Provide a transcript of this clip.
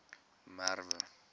merwe